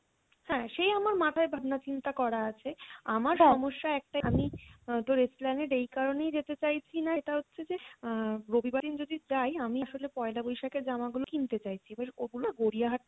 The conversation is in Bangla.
হ্যাঁ সে আমার মাথায় ভাবনা চিন্তা করা আছে আমার সমস্যা একটাই আমি আহ তোর Esplanade এই কারনেই যেতে চাইছিনা সেটা হচ্ছে যে আহ রবিবার দিন যদি যাই আমি আসলে পয়লা বৈশাখের জামা গুলো কিনতে চাইছি এবার ওগুলো গড়িয়াহাট